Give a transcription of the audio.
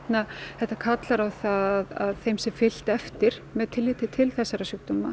þetta kallar á að þeim sé fylgt eftir með tilliti til þessara sjúkdóma